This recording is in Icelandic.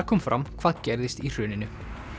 kom fram hvað gerðist í hruninu